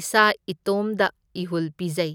ꯏꯁꯥ ꯏꯇꯣꯝꯗ ꯏꯍꯨꯜ ꯄꯤꯖꯩ꯫